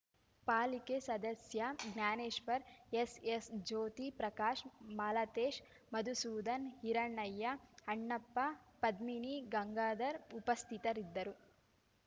ಪಾಲಿಕೆ ಸದಸ್ಯ Jnaneshwar S S Jyothi Prakash Malatesh Madhusudhan Hiranayya Annappa Padmini Gangadhar ಉಪಸ್ಥಿತರಿದ್ದರು